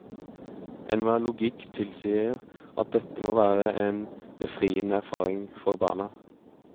Enhver logikk tilsier at dette må være en befriende erfaring for barna.